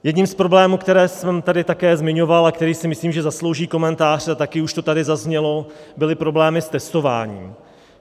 Jedním z problémů, které jsem tady také zmiňoval a který si, myslím, zaslouží komentář, a taky už to tady zaznělo, byly problémy s testováním.